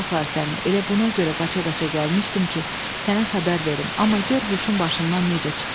Elə buna görə qaça-qaça gəlmişdim ki, sənə xəbər verim, amma gör huşum başımdan necə çıxdı."